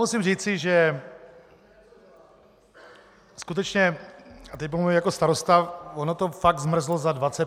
Musím říci, že skutečně, a teď mluvím jako starosta, ono to fakt zmrzlo za 25 minut.